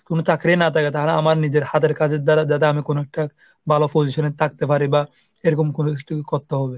কোন চাকরিই না থাকে তাহলে আমি নিজের হাতের কাজের দ্বারা যাতে আমি কোনো একটা ভালো position এ থাকতে পারি বা এরকম কোন কিসু করতে হবে।